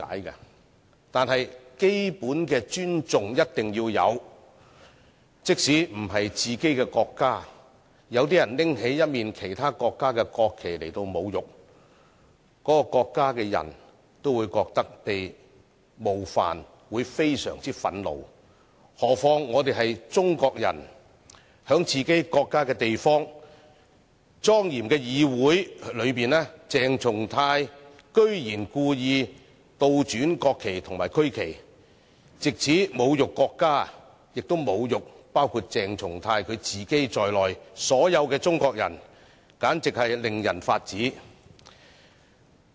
然而，基本的尊重一定要有，即使不是自己的國家，有些人侮辱其他國家的國旗，那個國家的人都會覺得被冒犯及非常憤怒，何況我們是中國人，在自己國家的地方、莊嚴的議會裏，鄭松泰議員居然故意倒轉國旗及區旗，藉此侮辱國家，亦侮辱包括鄭松泰議員自己在內的所有中國人，簡直是令人髮指。